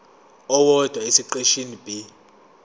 owodwa esiqeshini b